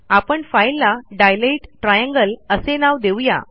आपण फाईलला dilate triangle असे नाव देऊ या